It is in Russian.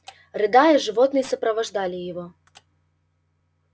рыдая животные сопровождали его